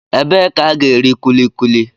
Ebee ka a ga-eri kulikuli?